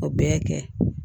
O bɛɛ ye kɛ